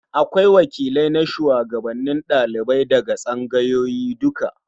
Akwai wakilai na shugabannin ɗalibai daga tsangayoyi duka.